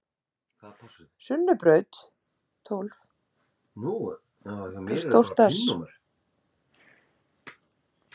Ágreiningurinn stendur aðallega um það hversu margar deilitegundir eru í Afríku.